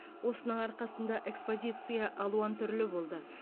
осының арқасында экспозиция алуан түрлі болды